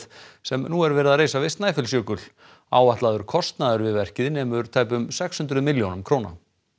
sem nú er verið að reisa við Snæfellsjökul áætlaður kostnaður við verkið nemur tæpum sex hundruð milljónum króna